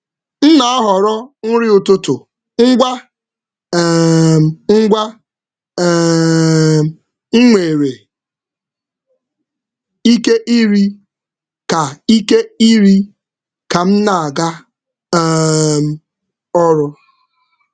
M na-ahọrọ nri ụtụtụ ngwa ngwa m nwere ike iri ka m na-aga ọrụ.